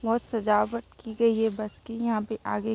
बहुत सजावट की गई है बस की यहाँ पे आगे।